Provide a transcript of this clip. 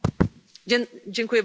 Panie Przewodniczący